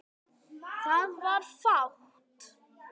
Það var fátt.